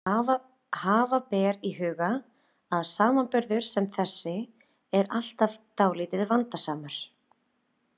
Hafa ber í huga að samanburður sem þessi er alltaf dálítið vandasamur.